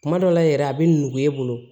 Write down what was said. Kuma dɔ la yɛrɛ a bɛ nugu e bolo